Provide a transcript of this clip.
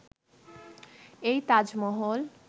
এই তাজমহল